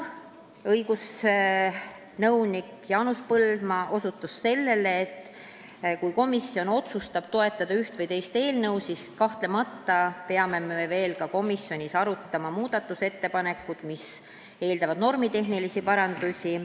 Õigusnõunik Jaanus Põldmaa osutas sellele, et kui komisjon otsustab toetada üht või teist eelnõu, siis kahtlemata peame veel ka komisjonis arutama muudatusettepanekuid, mis eeldavad normitehnilisi parandusi.